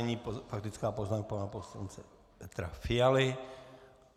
Nyní faktická poznámka pana poslance Petra Fialy.